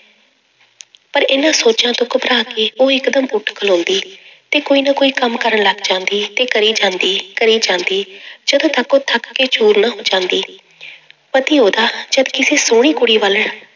ਪਰ ਇਹਨਾਂ ਸੋਚਾਂ ਤੋਂ ਘਬਰਾ ਕੇ ਉਹ ਇੱਕਦਮ ਉੱਠ ਖਲੋਂਦੀ ਤੇ ਕੋਈ ਨਾ ਕੋਈ ਕੰਮ ਕਰਨ ਲੱਗ ਜਾਂਦੀ ਤੇ ਕਰੀ ਜਾਂਦੀ, ਕਰੀ ਜਾਂਦੀ ਜਦੋਂ ਥੱਕੋ ਥੱਕ ਕੇ ਚੂਰ ਨਾ ਹੋ ਜਾਂਦੀ ਪਤੀ ਉਹਦਾ ਜਦ ਕਿਸੇ ਸੋਹਣੀ ਕੁੜੀ ਵੱਲ